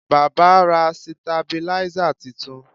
Baba ra sitabiláísà titun